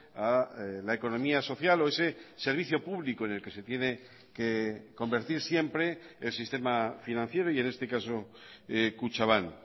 a la economía social o ese servicio público en el que se tiene que convertir siempre el sistema financiero y en este caso kutxabank